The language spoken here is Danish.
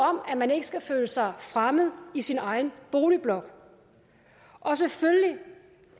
om at man ikke skal føle sig fremmed i sin egen boligblok og selvfølgelig